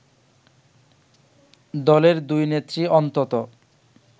দলের দুই নেত্রী অন্তত